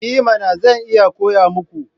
I mana! Zan iya koya muku.